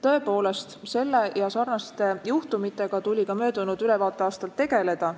Tõepoolest, sarnaste juhtumitega tuli ka möödunud ülevaateaastal tegeleda.